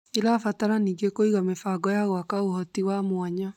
ĩrabatara ningĩ kũiga mĩbango ya gwaka ũhoti wa mwanya